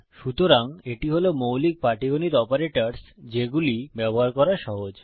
সুতরাং এটি হল মৌলিক পাটীগণিত অপারেটরস যেগুলি ব্যবহার করা সহজ